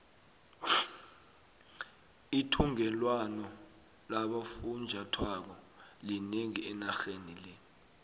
ithungelwano labofunjathwako linengi enarheni le